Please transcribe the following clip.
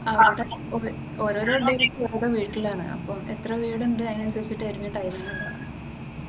ആഹ് അവിടെ ഓരോ ഓരോ ഡേയ്ക്ക് ഓരോ വീട്ടിലാണ് അപ്പൊ എത്ര വീടുണ്ട് അതിനനുസരിച്ചിട്ടായിരിക്കും ടൈമിംഗ് തരിക.